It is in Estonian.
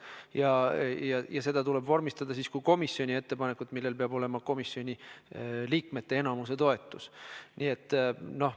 Tehtav ettepanek tuleb vormistada kui komisjoni ettepanek, millel peab olema enamiku komisjoni liikmete toetus.